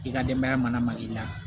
I ka denbaya mana ma i la